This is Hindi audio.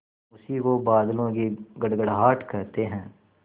उसी को बादलों की गड़गड़ाहट कहते हैं